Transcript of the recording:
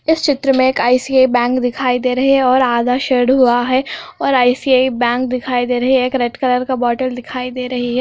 इस चित्र में एक आई_सी_आई बैंक दिखाई दे रहे है और आधा शेड हुआ है और आई_सी_आई बैंक दिखाई दे रही है एक रेड कलर का बोटल दिखाई दे रही है|